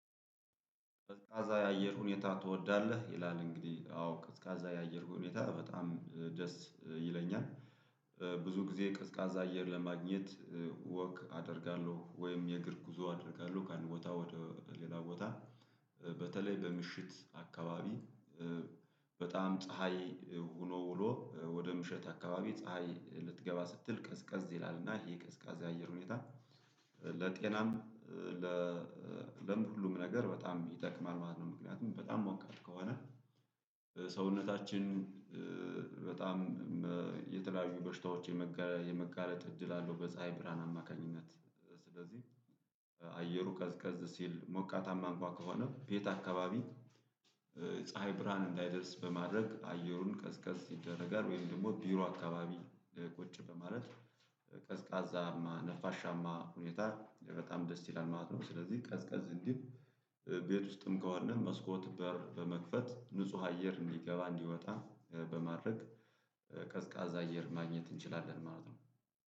ቀዝቃዛ የአየር ሁኔታ ትወዳለህ ይላል? እንግዲህ አዎ ቀዝቃዛ የአየር ሁኔታ በጣም ደስ ይለኛል። ብዙ ጊዜ ቀዝቃዛ አየር ለማግኘት። ወክ አደርጋለሁ ወይም የእግር ጉዞ አድርጋለሁ ከአንድ ቦታ ወደ ሌላ ቦታ በተለይ በምሽት አካባቢ። በጣም ፀሀይ ሆኖ ሆኖ ወደ ምሽት አካባቢ ፀሀይ ልትገባ ስትል ቀዝቀዝ ይላል እና ይሄ ቀዝቃዛ የአየር ሁኔታ። ለጤናም ለለም ሁሉም ነገር በጣም ይጠቅማል ማለት ነው። ምክንያቱም በጣም ሞቃት ከሆነ ሰውነታችን በጣም የተለያዩ በሽታዎች የመጋለጥ እድል አለው። በፀሀይ ብርሃን አማካኝነት። ስለዚህ ቀዝቀዝ ሲል ሞቃታማ እንኳን ከሆነ ቤት አካባቢ ፀሀይ ብርሃን እንዳይደርስ በማድረግ አየሩን ቀዝቀዝ ይደረጋል ወይም ደግሞ ቢሮ አካባቢ ቁጭ በማለት ቀዝቃዛማ ነፋሻማ ሁኔታ በጣም ደስ ይላል ማለት ነው። ስለዚህ ቀዝቀዝ እንዲል ቤት ውስጥም ከሆንን መስኮት በር በመክፈት ንጹህ አየር እንዲገባ እንዲወጣ በማድረግ ቀዝቃዛ አየር ማግኘት እንችላለን ማለት ነው